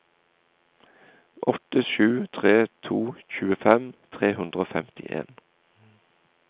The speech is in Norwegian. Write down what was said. åtte sju tre to tjuefem tre hundre og femtien